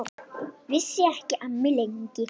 Hann hætti líka að vaxa.